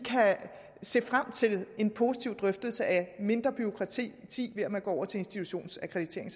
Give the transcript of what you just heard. se frem til en positiv drøftelse af mindre bureaukrati ved at man går over til institutionsakkreditering